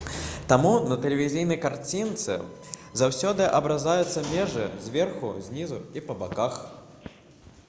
таму на тэлевізійнай карцінцы заўсёды абразаюцца межы зверху знізу і па баках